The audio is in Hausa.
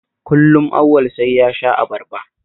Kullum Auwal sai ya sha abarba